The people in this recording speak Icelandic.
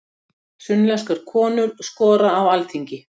Sunnlenskar konur skora á Alþingi